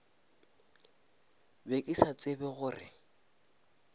be ke sa tsebe gore